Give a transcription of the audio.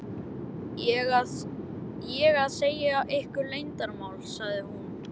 ég að segja ykkur leyndarmál? sagði hún.